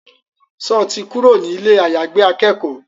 Sọ ti kúrò ní ilé àyàgbé akẹ́kọ̀ọ́?